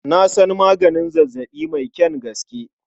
Na san maganin zazzaɓi mai kyan gaske.